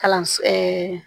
Kalanso